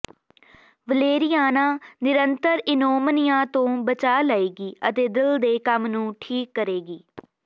Valeriana ਨਿਰੰਤਰ ਇਨੋਮਨੀਆ ਤੋਂ ਬਚਾ ਲਏਗੀ ਅਤੇ ਦਿਲ ਦੇ ਕੰਮ ਨੂੰ ਠੀਕ ਕਰੇਗੀ